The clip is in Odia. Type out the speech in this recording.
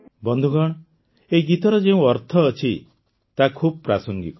ବନ୍ଧୁଗଣ ଏହି ଗୀତର ଯେଉଁ ଅର୍ଥ ଅଛି ତାହା ଖୁବ୍ ପ୍ରାସଙ୍ଗିକ